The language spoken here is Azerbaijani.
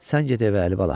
Sən get evə, Əlibala.